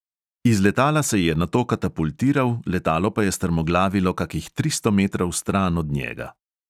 Iz letala se je nato katapultiral, letalo pa je strmoglavilo kakih tristo metrov stran od njega.